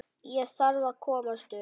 Ég þarf að komast upp.